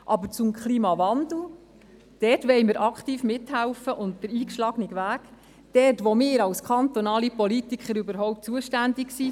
Aber beim Klimawandel wollen wir aktiv mithelfen und den eingeschlagenen Weg weitergehen, dort wo wir als kantonale Politiker überhaupt zuständig sind.